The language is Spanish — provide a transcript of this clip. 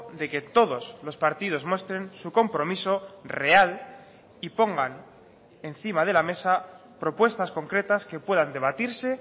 de que todos los partidos muestren su compromiso real y pongan encima de la mesa propuestas concretas que puedan debatirse